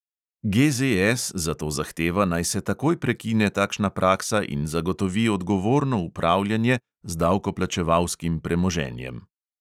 GZS zato zahteva, naj se takoj prekine takšna praksa in zagotovi odgovorno upravljanje z davkoplačevalskim premoženjem.